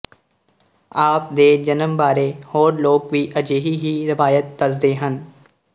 ਆਪ ਦੇ ਜਨਮ ਬਾਰੇ ਹੋਰ ਲੋਕ ਵੀ ਅਜਿਹੀ ਹੀ ਰਵਾਇਤ ਦੱਸਦੇ ਹਨ